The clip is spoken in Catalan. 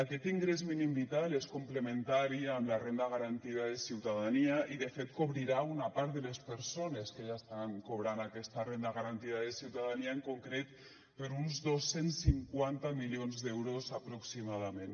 aquest ingrés mínim vital és complementari amb la renda garantida de ciutadania i de fet cobrirà una part de les persones que ja estan cobrant aquesta renda garantida de ciutadania en concret per uns dos cents i cinquanta milions d’euros aproximadament